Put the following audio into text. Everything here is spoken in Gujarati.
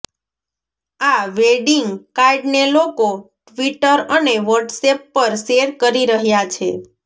આ વેડિંગ કાર્ડને લોકો ટ્વિટર અને વોટ્સએપ પર શેર કરી રહ્યા છે